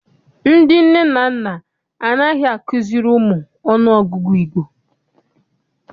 Ndị nne na nna anaghị azukiri ụmụ ọnụọgụgụ Igbo.